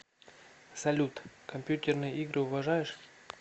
салют компьютерные игры уважаешь